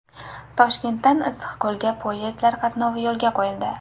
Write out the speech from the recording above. Toshkentdan Issiqko‘lga poyezdlar qatnovi yo‘lga qo‘yildi.